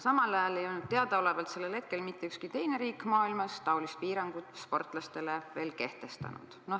Samal ajal ei olnud teadaolevalt sellel hetkel mitte ükski teine riik maailmas taolist piirangut sportlastele veel kehtestanud.